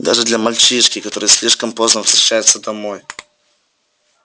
даже для мальчишки который слишком поздно возвращается домой